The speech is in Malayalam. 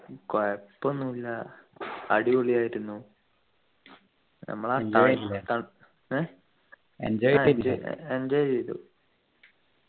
കൊയപ്പൊന്നു ഇല്ല അടിപൊളിയായിരുന്നു ഞമ്മളാ ത ത ഏർ ആഹ് enjoy ചെയ്തു